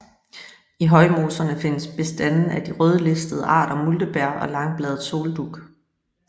I højmoserne findes bestande af de rødlistede arter multebær og langbladet soldug